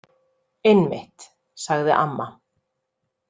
Einmitt, sagði amma.